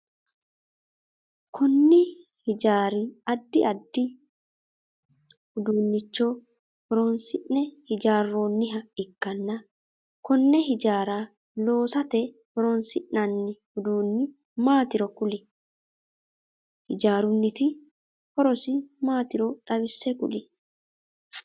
Konni hijaari addi addi uduunicho horoonsi'ne hijaaroonniha ikanna konne hijaara loosate horoonsi'nanni uduunni maatiro kuli? Hijaarunniti horosi maatiro xawise kuli?